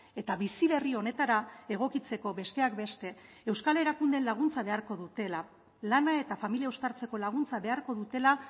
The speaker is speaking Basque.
eta bizi berri honetara egokitzeko besteak beste euskal erakundeen laguntza beharko dutela lana eta familia uztartzeko laguntza beharko dutela